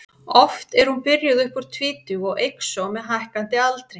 Oft er hún byrjuð upp úr tvítugu og eykst svo með hækkandi aldri.